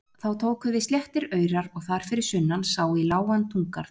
Þá tóku við sléttir aurar og þar fyrir sunnan sá í lágan túngarð.